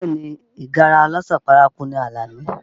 Bẹẹ ni, ìgárá ọlọ́ṣà paraku ni Alani